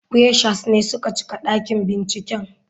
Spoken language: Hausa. Freshers ne suka cika dakin binciken.